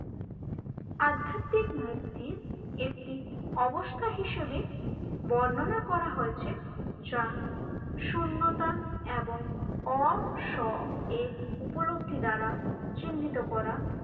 আধ্যাত্মিক মুক্তির একটি অবস্থা হিসেবে বর্ণনা করা হয়েছে যা শূন্যতা এবং অসএর উপলব্ধি দ্বারা চিহ্নিত করা